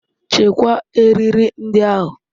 Chekwaa eriri ndị ahụ.